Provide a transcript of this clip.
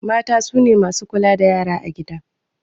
Mata sune masu kula da yara a gida